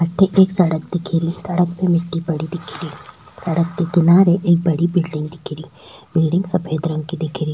अठ एक एक सड़क दिख री सड़क पे मिट्टी पड़ी दिख री सड़क के किनारे एक बड़ा बिलडिंग दिख री बिलडिंग सफ़ेद रंग की दिख री।